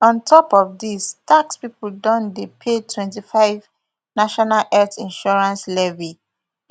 on top of dis tax pipo don dey pay twenty-five national health insurance levy